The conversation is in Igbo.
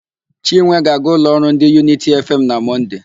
Chinwe ga-aga ụlọ ọrụ ndị Yunity Efeem na Mọnde.